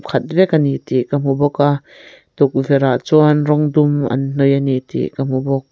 khat vek ani tih ka hmu bawk a tukverh ah chuan rawng dum an hnawih ani tih ka hmu bawk.